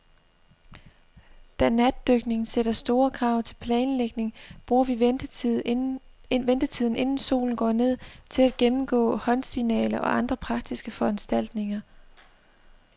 Da natdykning sætter store krav til planlægning, bruger vi ventetiden, inden solen går ned, til at gennemgå håndsignaler og andre praktiske foranstaltninger.